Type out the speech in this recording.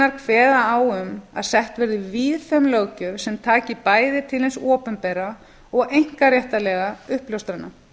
leiðbeiningarreglurnar kveða á um að sett verði víðfeðm löggjöf sem taki bæði til hins opinbera og einkaréttarlegra uppljóstrana